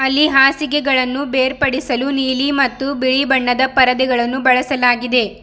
ಇಲ್ಲಿ ಹಾಸಿಗೆಗಳನ್ನು ಬೇರ್ಪಡಿಸಲು ನೀಲಿ ಮತ್ತು ಬಿಳಿ ಬಣ್ಣದ ಪರದೆಗಳನ್ನು ಬಳಸಲಾಗಿದೆ.